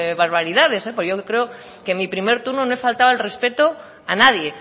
barbaridades porque yo creo que mi primer turno no he faltado al respeto a nadie